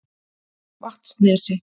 Vatnsnesi